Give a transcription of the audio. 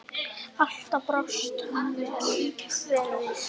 Alltaf brást hann vel við.